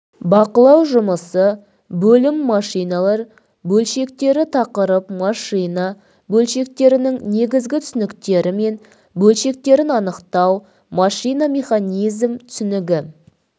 бақылау жұмысы бөлім машиналар бөлшектері тақырып машина бөлшектерінің негізгі түсініктері мен бөлшектерін анықтау машина механизм түсінігі